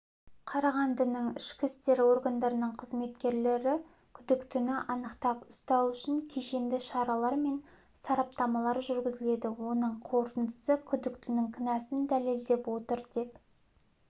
қарағандының ішкі істер органдарының қызметкерлері күдіктіні анықтап ұстау үшін кешенді шаралар мен сараптамалар жүргізілді оның қорытындысы күдіктінің кінәсін дәлелдеп отыр деп